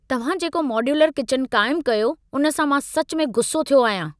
तव्हां जेको modular kitchen क़ाइम कयो, उन सां मां सचु में गुस्सो थियो आहियां।